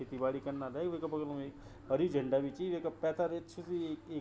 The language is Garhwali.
खेती बाड़ी कन्ना लय वेका बगल मम एक हरी झंडा बि ची वेका पेथर अच्छू सी ए ऐक --